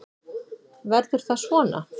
Verður það svona?